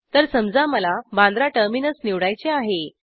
तर समजा मला बांद्रा टर्मिनस निवडायचे आहे